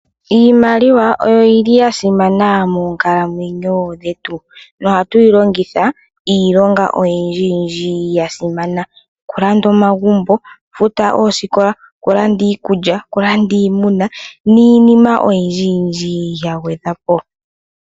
Iimaiwa oyo yili yasimana moonkalwenyo dhetu na ohatuyi longitha iilonga oyindji yasimana, okulanda omagumbo, okufuta oosikola, okulanda iikulya, okulanda iimuna niinima oyindji yindji yagwedhwa po.